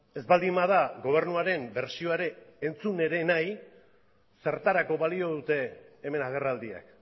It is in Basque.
ez baldin bada gobernuaren bertsioa ere entzun ere nahi zertarako balio dute hemen agerraldiak